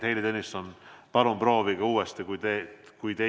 Heili Tõnisson, palun proovige uuesti, kui te meid kuulete.